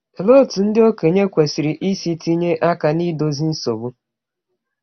Olee otú ndị okenye kwesịrị isi tinye aka n’idozi nsogbu?